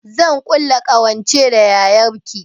Zan ƙulla ƙawance da yayar ki